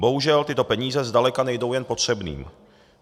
Bohužel tyto peníze zdaleka nejdou jen potřebným.